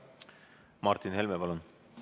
Martin Helme, palun!